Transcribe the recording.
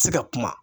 Se ka kuma